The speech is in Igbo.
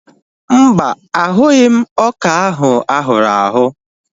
Mba, ahụghị m ọka ahụ ahụrụ ahụ̀